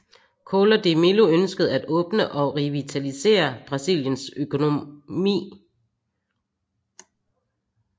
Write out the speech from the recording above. Collor de Mello ønskede at åbne og revitalisere Brasiliens økonomi